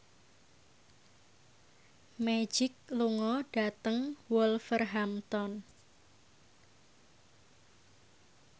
Magic lunga dhateng Wolverhampton